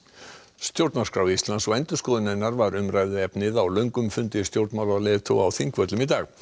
stjórnarskrá Íslands og endurskoðun hennar var umræðuefnið á löngum fundi stjórnmálaleiðtoga á Þingvöllum í dag